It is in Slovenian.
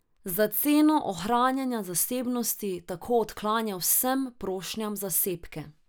Za ceno ohranjanja zasebnosti tako odklanja vsem prošnjam za sebke.